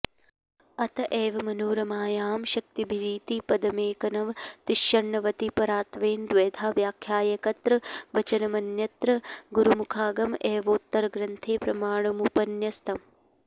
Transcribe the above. अत एव मनोरमायां शक्तिभिरिति पदमेकनवतिषण्णवतिपरत्वेन द्वेधा व्याख्यायैकत्र वचनमन्यत्र गुरुमुखागम एवोत्तरग्रन्थे प्रमाणमुपन्यस्तम्